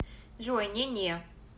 джой не не